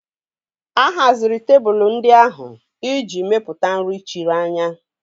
A haziri tebụl ndị ahụ iji mepụta nri chiri anya